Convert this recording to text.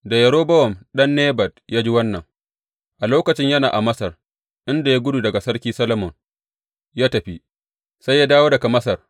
Da Yerobowam ɗan Nebat ya ji wannan a lokacin yana a Masar, inda ya gudu daga Sarki Solomon ya tafi, sai ya dawo daga Masar.